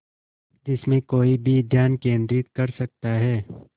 जिसमें कोई भी ध्यान केंद्रित कर सकता है